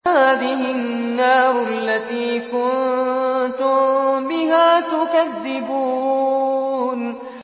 هَٰذِهِ النَّارُ الَّتِي كُنتُم بِهَا تُكَذِّبُونَ